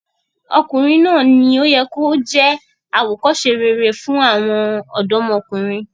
Ọkùnrin náà ni ó yẹ kí ó jẹ́ àwòkọ́se rere fún àwọn ọ̀dọ́mọkùnrin.